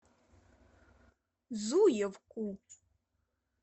зуевку